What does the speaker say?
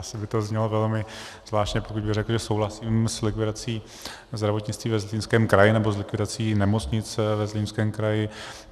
Asi by to znělo velmi zvláštně, pokud bych řekl, že souhlasím s likvidací zdravotnictví ve Zlínském kraji nebo s likvidací nemocnice ve Zlínském kraji.